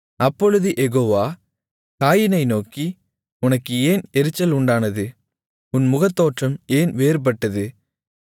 அப்பொழுது யெகோவா காயீனை நோக்கி உனக்கு ஏன் எரிச்சல் உண்டானது உன் முகத்தோற்றம் ஏன் வேறுபட்டது